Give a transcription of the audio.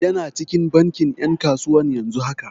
Yana cikin bankin 'yan kasuwa yanzu haka.